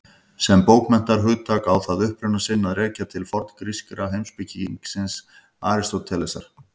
Sem bókmenntahugtak á það uppruna sinn að rekja til forngríska heimspekingsins Aristótelesar.